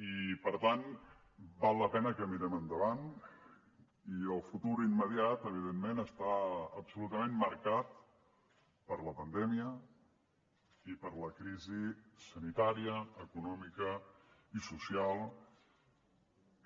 i per tant val la pena que mirem endavant i el futur immediat evidentment està absolutament marcat per la pandèmia i per la crisi sanitària econòmica i social